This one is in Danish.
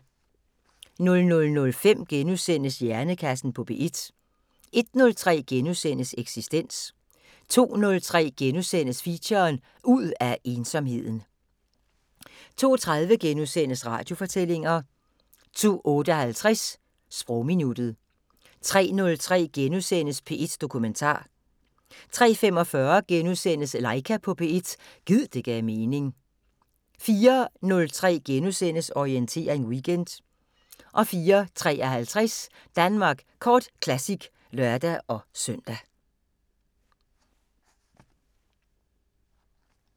00:05: Hjernekassen på P1 * 01:03: Eksistens * 02:03: Feature: Ud af ensomheden * 02:30: Radiofortællinger * 02:58: Sprogminuttet 03:03: P1 Dokumentar * 03:45: Laika på P1 – gid det gav mening * 04:03: Orientering Weekend * 04:53: Danmark Kort Classic (lør-søn)